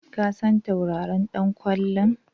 Ka san tauraron ɗan ƙwallon?